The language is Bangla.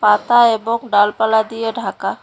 পাতা এবং ডালপালা দিয়ে ঢাকা।